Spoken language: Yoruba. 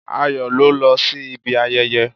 Ayọ̀ ló lọ sí ibi ayẹyẹ